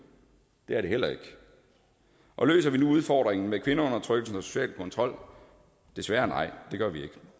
det er det heller ikke og løser vi nu udfordringen med kvindeundertrykkelse og social kontrol desværre nej det gør vi ikke